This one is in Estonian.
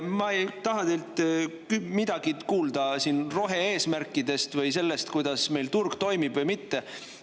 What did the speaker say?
Ma ei taha teilt midagi kuulda rohe-eesmärkidest või sellest, kuidas meil turg toimib või mitte.